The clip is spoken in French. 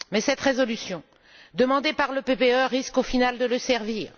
Mais cette résolution, demandée par le PPE, risque au final de le servir.